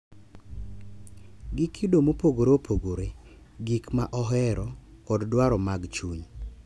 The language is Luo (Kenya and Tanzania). Gi kido mopogore opogore, gik ma ohero, kod dwaro mag chuny.